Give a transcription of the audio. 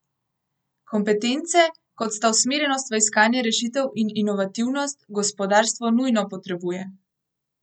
Kompetence, kot sta usmerjenost v iskanje rešitev in inovativnost, gospodarstvo nujno potrebuje.